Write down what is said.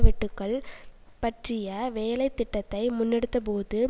வெட்டுக்கள் பற்றிய வேலை திட்டத்தை முன்னெடுத்தபோது